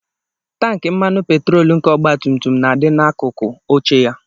Tankị mmanụ petrol nke ọgbatumtum na-adị n'akụkụ oche ya